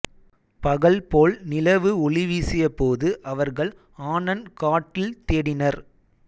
பகல் போல் நிலவு ஒளிவீசியபோது அவர்கள் ஆனன் காட்டில் தேடினர்